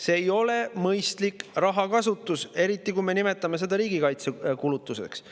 See ei ole mõistlik rahakasutus, eriti kui me nimetame seda riigikaitsekulutuseks.